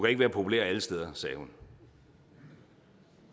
ikke være populær alle steder sagde hun